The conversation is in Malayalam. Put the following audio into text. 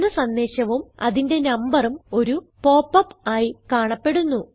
എന്ന സന്ദേശവും അതിന്റെ നമ്പറും ഒരു പോപ്പ് അപ്പ് ആയി കാണപ്പെടുന്നു